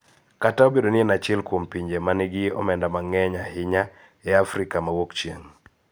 Kata obedo ni en achiel kuom pinje ma nigi omenda mang�eny ahinya e Afrika ma Wuokchieng�.